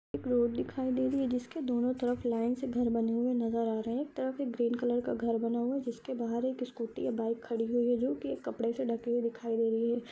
एक रोड दिखाई दे रही जिसके दोनों तरफ लाइन से घर बने हुए नजर आ रहे है एक तरफ एक ग्रीन कलर का घर बना हुआ है जिसके बहार एक स्कूटी या बाइक खड़ी हुई है जो की एक कपडे से ढकी हुई दिखाई दे रही है।